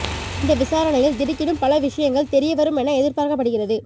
இந்த விசாரணையில் திடுக்கிடும் பல விஷயங்கள் தெரிய வரும் என எதிர்பார்க்கப்படுகிறது